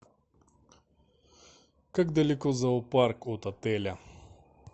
как далеко зоопарк от отеля